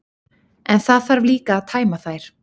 En það þarf líka að tæma þær.